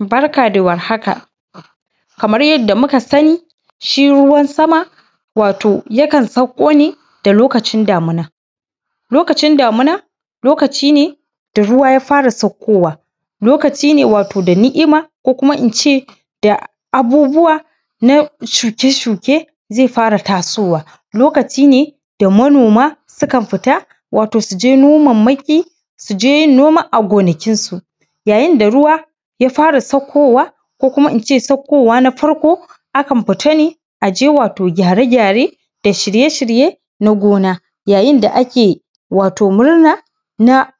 Barka da warhaka, kamar yadda muka sani shi ruwan sama, wato shi ruwan sama wato yakan sauko ne da lokacin damina, lokacin damina lokaci ne da ruwa ya fara saukowa, lokaci ne wato da ni’ima ko kuma ince da abubuwa na shuke-shuke zai fara tasowa, lokaci ne da manoma sukan fita wato su je nomanmaki, su je yin noma a gonakin su, yayin da ruwa ya fara saukowa ko kuma ince saukowa na farko akan fita ne wato aje gyare-gyare da shirye-shirye na gona. Yayin da ake wato murna na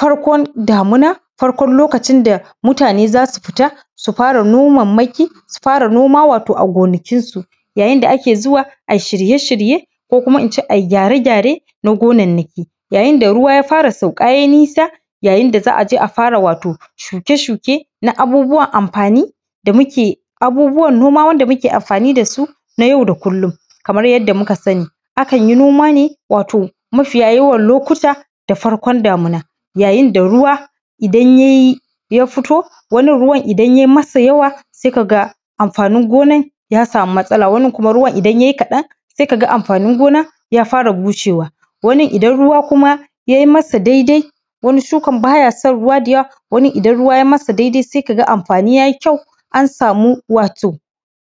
farkon damuna, farkon lokacin da mutane za su fita su fara nomammaki, su fara noma wato a gonakin su, yayin da ake zuwa ai shirye-shirye ko kuma ince ai gyare-gyare na gonannaki, yayinda ruwa ya fara sauka ye nisa, yayin da za a je a fara wato shuke-shuke na abubuwan amfani da muke, abubuwan noma wanda muke amfani dasu na yau da kullum. Kamar yadda muka sani, akan yi noma ne wato mafiya yawan lokuta da farkon damina, yayinda ruwa idan ye, ya fito wani ruwan idan ye masa yawa, sai kaga amfanin gonan ya samu matsala, wani ruwan idan ye kaɗan sai kaga amfanin gonan ya fara bushewa, wani idan ruwa kuma ye masa daidai, wani shukan baya son ruwa da yawa, wani idan ruwa ye masa daidai sai kaga amfani ya yi kyau an samu wato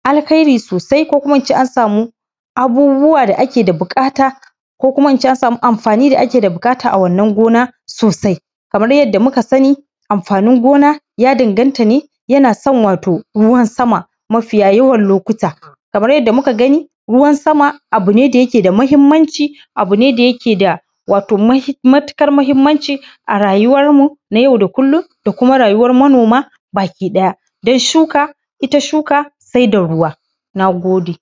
alkhairi sosai, ko kuma ince an samu abubuwa da ake da buƙata, ko kuma ince an samu amfani da ake da buƙata a wannan gona sosai. Kamar yadda muka sani amfanin gona ya danganta ne yana son wato ruwan sama mafiya yawan lokuta, kaman yadda muka gani r ruwan sama abu ne da yake da mahimmanci, abu ne da yake da matuƙar mahimmanci a rayuwarmu na yau da kullum da kuma rayuwar manoma baki ɗaya. Don shuka, ita shuka sai da ruwa. Na gode.